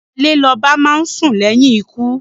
Ìgbàlè l'oba máá sùn léyìn ikú.